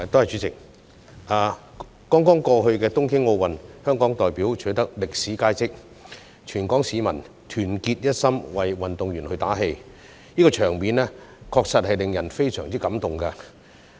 在剛剛過去的東京奧運，香港代表取得歷史佳績，全港市民團結一心為運動員打氣，場面確實令人非常感動。